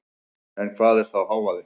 En hvað er þá hávaði?